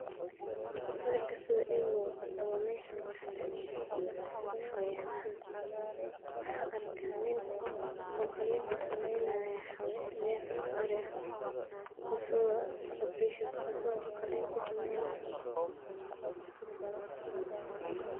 Sawirka sida imuqdo wameesha luguxananeyo xawayanaha waxa arka niin qalin kusameynayo neef ari ah mise asago qalin kusameynayo.